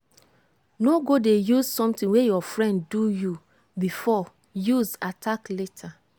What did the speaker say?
no go dey use something wey your friend do you before use attack later.